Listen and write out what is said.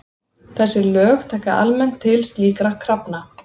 Þessi lög taka almennt til slíkra krafna.